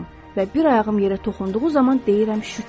Və bir ayağım yerə toxunduğu zaman deyirəm şükür.